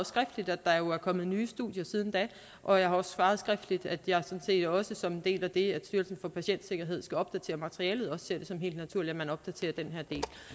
skriftligt at der jo er kommet nye studier siden da og jeg har også svaret skriftligt at jeg sådan set også som en del af det at styrelsen for patientsikkerhed skal opdatere materialet ser det som helt naturligt at man opdaterer den her